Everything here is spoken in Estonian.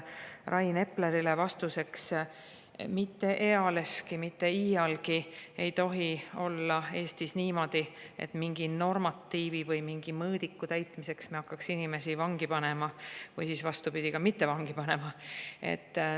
Rain Eplerile vastuseks: mitte ealeski, mitte iialgi ei tohi olla Eestis niimoodi, et me mingi normatiivi või mingi mõõdiku täitmiseks hakkame inimesi vangi panema või siis vastupidi, mitte vangi panema.